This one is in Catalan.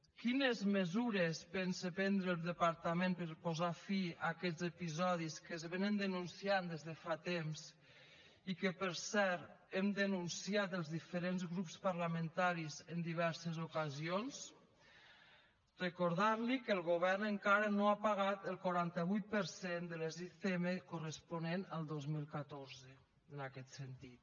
quines mesures pensa prendre el departament per posar fi a aquests episodis que es denuncien des de fa temps i que per cert hem denunciat els diferents grups parlamentaris en diverses ocasions recordar li que el govern encara no ha pagat el quaranta vuit per cent de les icm corresponent al dos mil catorze en aquest sentit